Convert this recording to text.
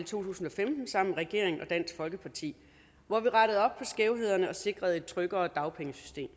tusind og femten sammen med regeringen og dansk folkeparti hvor vi rettede op på skævhederne og sikrede et tryggere dagpengesystem